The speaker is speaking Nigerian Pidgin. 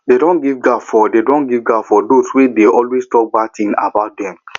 dem don give gap for give gap for dos wey dey always talk bad tin about dem